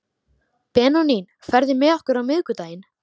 Benóný, ferð þú með okkur á miðvikudaginn?